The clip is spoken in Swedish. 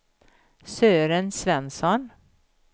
Sören Svensson